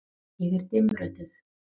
Ég er dimmrödduð.